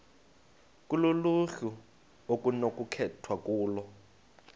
kuluhlu okunokukhethwa kulo